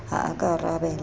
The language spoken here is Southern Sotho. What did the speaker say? ha a ka a arabela